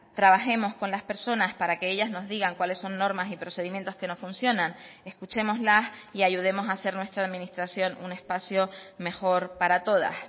trabajemos con las personas para que ellas nos digan cuáles son normas y procedimientos que no funcionan escuchémoslas y ayudemos a hacer nuestra administración un espacio mejor para todas